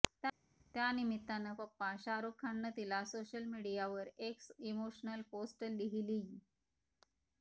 त्या निमित्तानं पप्पा शाहरुख खाननं तिला सोशल मीडियावर एक इमोशनल पोस्ट लिहिलीय